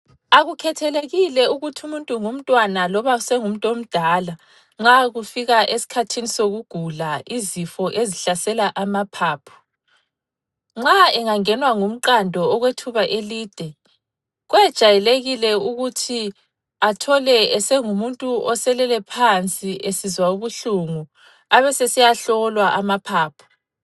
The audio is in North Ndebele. Akukhethelekile ukuthi umuntu ngumntwana loba sengumuntu omdala, nxa kufika esikhathini sokugula izifo ezihlasela amaphaphu, nxa engangenwa ngumqando okwethuba elide, kwejwayelekile ukuthi athole esengumuntu oselele phansi esizwa ubuhlungu abesesiya hlolwa amaphaphu.